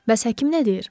Bəs həkim nə deyir?